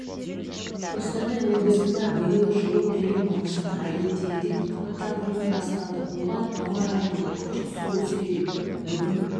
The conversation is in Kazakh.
қостанай облысында биыл жылу беру маусымы әдеттегіден апта бұрын басталды оған ауа-райының күрт суытуы себеп бүгін